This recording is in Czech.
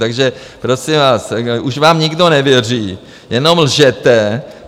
Takže, prosím vás, už vám nikdo nevěří, jenom lžete.